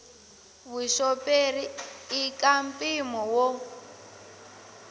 vuxoperi i ka mpimo wo